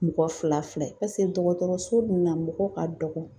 Mɔgɔ fila fila paseke dɔgɔtɔrɔso ninun na, mɔgɔw ka dɔgɔ.